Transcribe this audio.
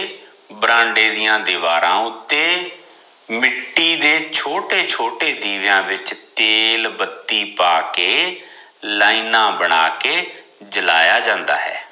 ਬਰਾਂਡੇ ਦੀਆ ਦੀਵਾਰਾਂ ਉੱਤੇ, ਮਿੱਟੀ ਤੇ ਛੋਟੇ ਛੋਟੇ ਦੀਵਿਆਂ ਵਿਚ ਤੇਲ ਬੱਤੀ ਪਾਕੇ ਲਾਈਨਾ ਬਣਾ ਕੇ ਜਲਾਇਆ ਜਾਂਦਾ ਹੈ।